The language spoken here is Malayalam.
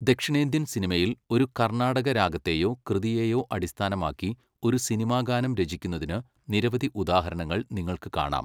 ദക്ഷിണേന്ത്യൻ സിനിമയിൽ, ഒരു കർണാടക രാഗത്തെയോ കൃതിയേയോ അടിസ്ഥാനമാക്കി ഒരു സിനിമാ ഗാനം രചിക്കുന്നതിന് നിരവധി ഉദാഹരണങ്ങൾ നിങ്ങൾക്ക് കാണാം.